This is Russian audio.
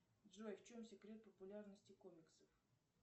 джой в чем секрет популярности комиксов